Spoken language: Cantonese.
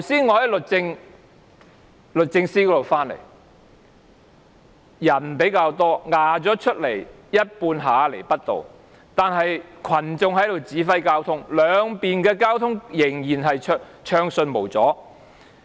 我剛才從律政中心那邊回來，人數較多，佔據了一半下亞厘畢道，但群眾在指揮交通，兩邊的交通仍然暢順無阻。